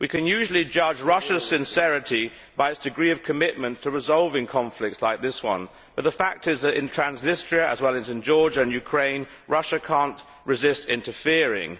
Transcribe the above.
We can usually judge Russia's sincerity by its degree of commitment to resolving conflicts like this one, but the fact is that in Transnistria, as well as in Georgia and Ukraine, Russia cannot resist interfering.